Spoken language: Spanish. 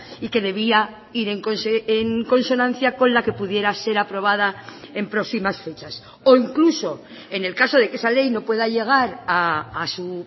y que debía ir en consonancia con la que pudiera ser aprobada en próximas fechas o incluso en el caso de que esa ley no pueda llegar a su